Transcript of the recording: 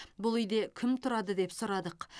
бұл үйде кім тұрады деп сұрадық